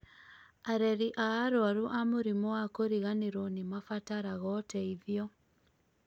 areri a arwaru a mũrimũ wa kũriganĩrwo nĩmabataraga ũteithio